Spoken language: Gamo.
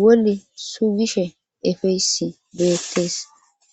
woli suugishe efeysi beettees